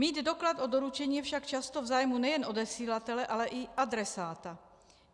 Mít doklad o doručení je však často v zájmu nejen odesílatele, ale i adresáta.